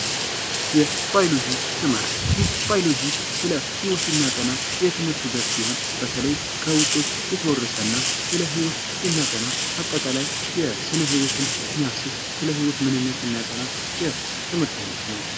የትምህርት ቴክኖሎጂ የመማር ማስተማር ሂደትን ለማሳለጥና ይበልጥ ውጤታማ ለማድረግ የተለያዩ ዲጂታል መሳሪያዎችን ይጠቀማል